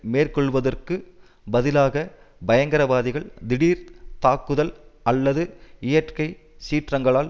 மேற்கொள்வதற்குப் பதிலாக பயங்கரவாதிகள் திடீர்த் தாக்குதல் அல்லது இயற்கை சீற்றங்களால்